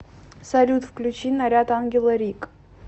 салют включи наряд ангела рик